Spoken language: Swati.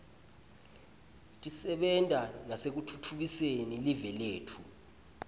tisebenta nasekutfutfukiseni live letfu